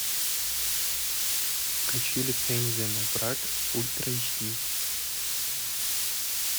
включи лицензия на брак ультра эйч ди